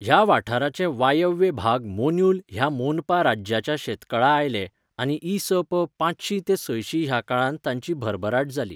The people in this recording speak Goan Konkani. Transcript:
ह्या वाठाराचे वायव्य भाग मोन्युल ह्या मोनपा राज्याच्या शेकातळा आयले आनी इ.स.प.पांचशी ते सयशी ह्या काळांत तांंची भरभराट जाली.